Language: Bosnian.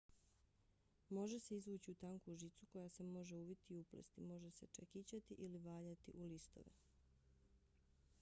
može se izvući u tanku žicu koja se može uviti i uplesti. može se čekićati ili valjati u listove